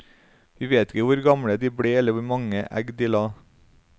Vi vet ikke hvor gamle de ble eller hvor mange egg de la.